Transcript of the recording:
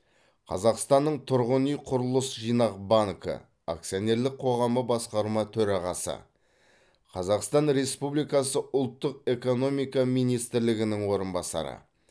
қазақстанның тұрғын үй құрылыс жинақ банкі акционерлік қоғамы басқарма төрағасы қазақстан республикасы ұлттық экономика министрлігінің орынбасары